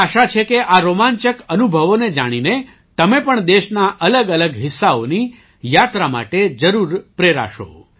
મને આશા છે કે આ રોમાંચક અનુભવોને જાણીને તમે પણ દેશના અલગઅલગ હિસ્સાઓની યાત્રા માટે જરૂર પ્રેરાશો